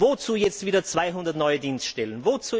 Wozu jetzt wieder 200 neue Dienststellen?